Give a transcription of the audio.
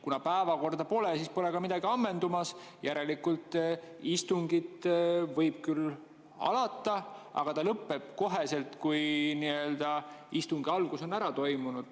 Kuna päevakorda pole, siis pole ka midagi ammendumas, järelikult võib istung küll alata, aga ta lõpeb kohe, kui istungi algus on ära toimunud.